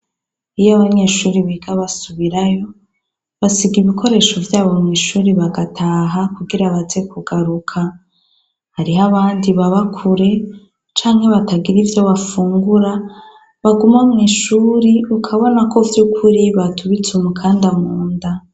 Iyo abanyeshure biga basubirayo, basiga ibikoresho vyabo mwishure bagataha kugira baze kugaruka. Hariho abandi baba kure canke batagira ivyo bafungura baguma mwishure ukabona ko vyukuri batubitse umukanda munda.